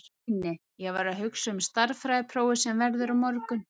Nei, nei, ég var að hugsa um stærðfræðiprófið sem verður á morgun.